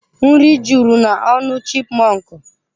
Nri juru n'ọnụ chipmọnkụ.